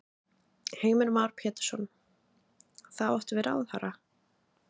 Heimir Már Pétursson: Þá áttu við ráðherra?